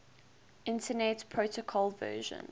internet protocol version